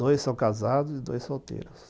Dois são casados e dois solteiros.